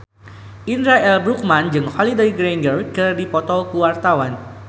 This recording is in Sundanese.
Indra L. Bruggman jeung Holliday Grainger keur dipoto ku wartawan